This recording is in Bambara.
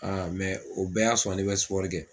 o bɛɛ y'a sɔrɔ ne bɛ kɛ.